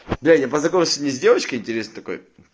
бля я познакомился сегодня с девочкой интересной такой